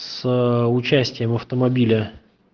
с ээ участием автомобиля